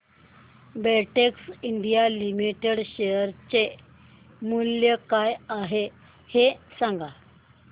Betex India Limited share चे मूल्य काय आहे हे सांगा